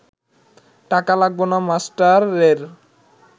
টাকা লাগব না মাস্টারের